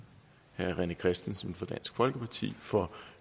herre rené christensen fra dansk folkeparti for